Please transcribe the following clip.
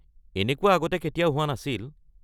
এনেকুৱা আগতে কেতিয়াও হোৱা নাছিল।